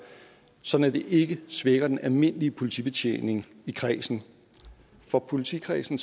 sådan at det ikke svækker den almindelige politibetjening i kredsen for politikredsen